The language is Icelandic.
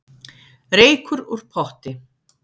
Reykur úr potti